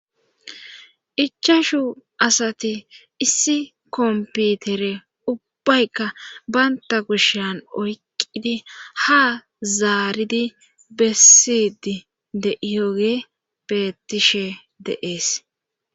ichashu asati issi komputere ubbaykka banta kushan oyqqidi ha zaaridi bessidi de iyoge beettishe de,es